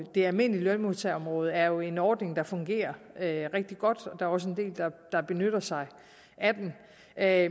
det almindelige lønmodtagerområde er jo en ordning der fungerer rigtig godt og der er også en del der benytter sig af